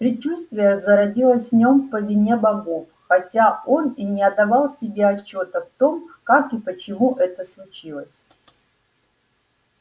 предчувствие зародилось в нём по вине богов хотя он и не отдавал себе отчёта в том как и почему это случилось